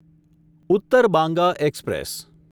Uttar Banga express